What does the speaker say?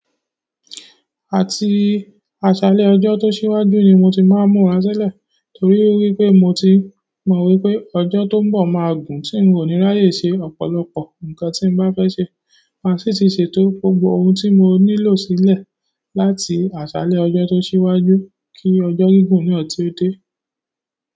Àti aṣálẹ́ ọjọ́ tó ṣíwájú ni mo ti máa ń múra sílẹ̀ torí pé mo ti mọ̀ wípé ọjọ́ tó ń bọ̀ máa gùn tí ń ò ní ráyè ṣe ọ̀pọ̀lọpọ̀ nǹkan tí mo bá fẹ́ ṣe. Màá sì ti ṣètò gbogbo ohun tí mo nílò sílẹ̀ láti aṣálẹ́ ọjọ́ tó ṣíwájú kí ọjọ́ gígùn náà tí ó dé.